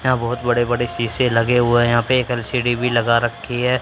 यहां बहोत बड़े बड़े शीशे लगे हुए हैं यहां पे एक एल_सी_डी भी लगा रखी है।